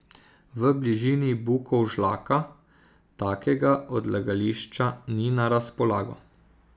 V bližini Bukovžlaka takega odlagališča ni na razpolago.